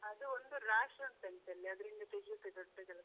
ಅದು ಒಂದು ರಾಶಿ ಉಂಟಂತೆ ಅಲ್ಲಿ ಅದರಲ್ಲಿಂದ ತೆಗಿಯುದೇ ದೊಡ್ಡ ಕೆಲ್ಸ.